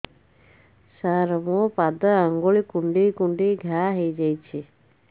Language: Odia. ସାର ମୋ ପାଦ ଆଙ୍ଗୁଳି କୁଣ୍ଡେଇ କୁଣ୍ଡେଇ ଘା ହେଇଯାଇଛି